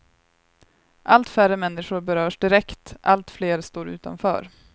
Allt färre människor berörs direkt, allt fler står utanför.